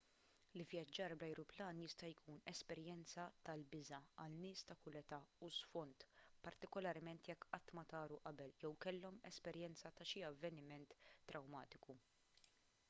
l-ivvjaġġar bl-ajruplan jista' jkun esperjenza tal-biża' għal nies ta' kull età u sfond partikularment jekk qatt ma taru qabel jew kellhom esperjenza ta' xi avveniment trawmatiku